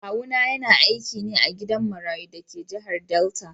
Kawuna yana aiki ne a gidan marayu da ke jihar Delta.